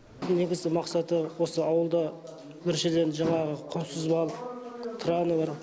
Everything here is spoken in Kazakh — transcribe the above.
бұның негізгі мақсаты осы ауылда біріншіден жаңағы құнсыз балық траны бар